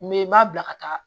N bɛ n m'a bila ka taa